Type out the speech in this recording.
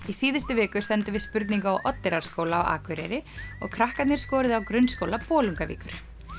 í síðustu viku sendum við spurningu á Oddeyrarskóla á Akureyri og krakkarnir skoruðu á Grunnskóla Bolungarvíkur